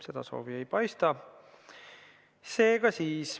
Seda soovi ei paista.